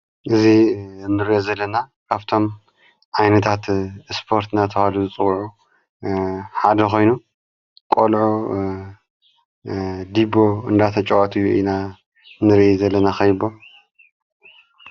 እዙ ንሬኦ ዘለና ካብቶም ኣይነታት እስጶርት ናተዋሉ ጽውዑ ሓደ ኾይኑ ቖልዑ ዲቦ እንዳተ ጨዋትዩ ኢና ንሬ ዘለና ኸቢቦም